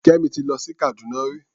Kẹ́mi ti lọ sí Kàdúná rí.